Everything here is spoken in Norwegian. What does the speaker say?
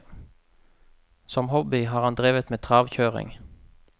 Som hobby har han drevet med travkjøring.